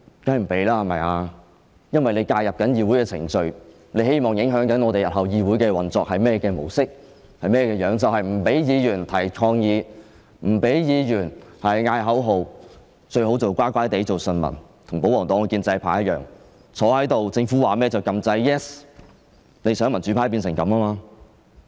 當然不，因為政府正在介入議會的程序，希望影響議會日後的運作模式，便是不准議員提出抗議、叫喊口號，最好乖乖做順民，與保皇黨和建制派一樣坐在議事堂內，政府說甚麼便按下 "Yes" 按鈕，想民主派變成這樣。